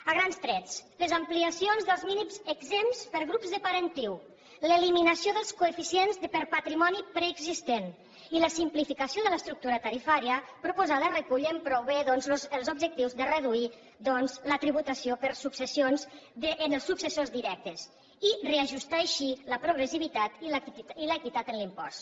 a grans trets les ampliacions dels mínims exempts per grups de parentiu l’eliminació dels coeficients per patrimoni preexistent i la simplificació de l’estructura tarifària proposades recullen prou bé doncs els objectius de reduir la tributació per successions en els successors directes i reajustar així la progressivitat i l’equitat en l’impost